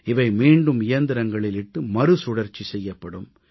இவை மீண்டும் இயந்திரங்களில் இட்டு மறுசுழற்சி செய்யப்படும்